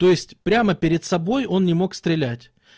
то есть прямо перед собой он не мог стрелять